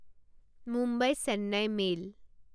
Mumbai Chennai mail